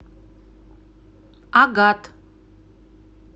агат